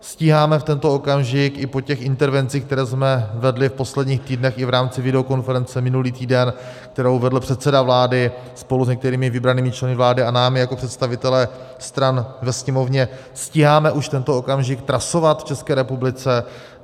Stíháme v tento okamžik i po těch intervencích, které jsme vedli v posledních týdnech i v rámci videokonference minulý týden, kterou vedl předseda vlády spolu s některými vybranými členy vlády a námi jako představiteli stran ve Sněmovně, stíháme už tento okamžik trasovat v České republice?